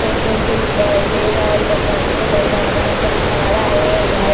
Photo घिचवेले हई चार-पांचगो मर्दवा सब खड़ा होईल हई।